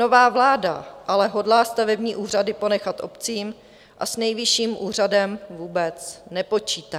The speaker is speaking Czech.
Nová vláda ale hodlá stavební úřady ponechat obcím a s Nejvyšším úřadem vůbec nepočítá.